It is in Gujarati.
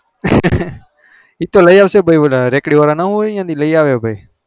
એ તો લઇ અવચે ભાઈ ઓલા રેકડી વાર ના હોય